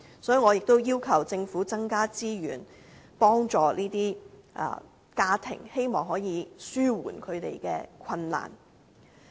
所以，我也要求政府增加資源，幫助這些家庭，希望可以紓緩他們的困難。